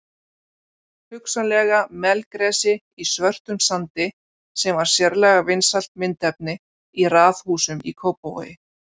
Hugsanlega melgresi í svörtum sandi sem var sérlega vinsælt myndefni í raðhúsum í Kópavogi.